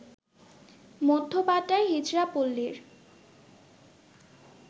মধ্য বাড্ডার হিজড়া পল্লীর